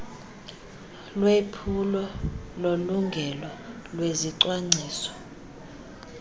lwephulo lolingelo lezicwangciso